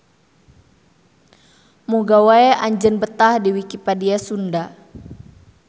Muga wae anjeun betah di Wikipedia Sunda.